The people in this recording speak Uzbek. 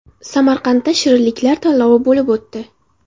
Samarqandda shirinliklar tanlovi bo‘lib o‘tdi.